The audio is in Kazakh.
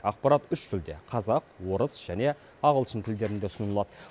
ақпарат үш тілде қазақ орыс және ағылшын тілдерінде ұсынылады